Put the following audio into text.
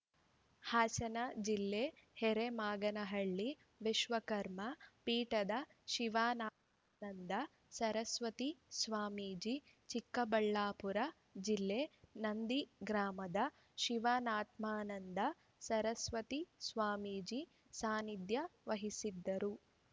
ಹಾಸನ ಜಿ ಹರೇಮಾಗನಹಳ್ಳಿ ವಿಶ್ವಕರ್ಮ ಪೀಠದ ಶಿವಾತ್ಮಾನಂದ ಸರಸ್ವತಿ ಸ್ವಾಮೀಜಿ ಚಿಕ್ಕಬಳ್ಳಾಪುರ ಜಿಲ್ಲೆ ನಂದಿ ಗ್ರಾಮದ ಶಿವಾತ್ಮಾನಂದ ಸರಸ್ವತಿ ಸ್ವಾಮೀಜಿ ಸಾನಿಧ್ಯ ವಹಿಸಿದ್ದರು